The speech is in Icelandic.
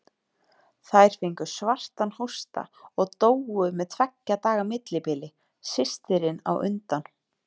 Þær fengu svartan hósta og dóu með tveggja daga millibili, systirin á undan.